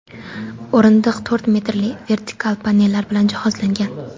O‘rindiq to‘rt metrli vertikal panellar bilan jihozlangan.